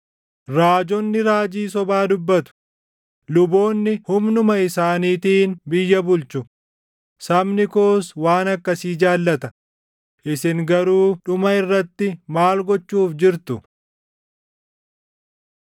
Raajonni raajii sobaa dubbatu; luboonni humnuma isaaniitiin biyya bulchu; sabni koos waan akkasii jaallata; isin garuu dhuma irratti maal gochuuf jirtu?